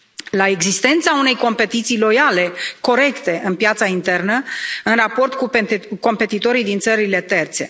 la existența unei competiții loiale, corecte, în piața internă, în raport cu competitorii din țările terțe.